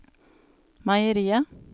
meieriet